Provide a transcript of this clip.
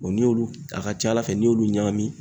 n'i y'olu a ka ca Ala fɛ n'i y'olu ɲagami